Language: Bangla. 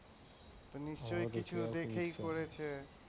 নিশ্চয়ই কিছু দেখেই করেছে।